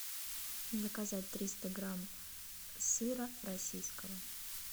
заказать триста грамм сыра российского